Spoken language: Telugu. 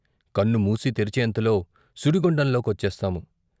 కన్నుమూసి తెరిచేంతలో సుడిగుండంలో కొచ్చేస్తాము.